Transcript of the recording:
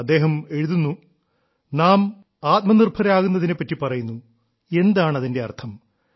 അദ്ദേഹം എഴുതുന്നു നാം ആത്മനിർഭരരാകുന്നതിനെ പറ്റി പറയുന്നു എന്താണ് അതിന്റെ അർത്ഥം